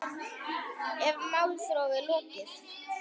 Er málþófi lokið?